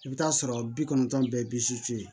I bɛ t'a sɔrɔ bi kɔnɔntɔn bɛ sisi